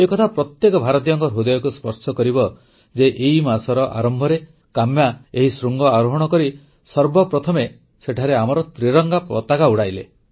ଏକଥା ପ୍ରତ୍ୟେକ ଭାରତୀୟଙ୍କ ହୃଦୟକୁ ସ୍ପର୍ଶ କରିବ ଯେ ଏଇ ମାସର ଆରମ୍ଭରେ କାମ୍ୟା ଏହି ଶୃଙ୍ଗ ଆରୋହଣ କରି ସର୍ବପ୍ରଥମେ ସେଠାରେ ଆମର ତ୍ରିରଙ୍ଗା ପତାକା ଉଡ଼ାଇଲେ